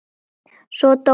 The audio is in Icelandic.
Svo dó hann.